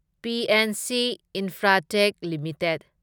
PNC Infratech limited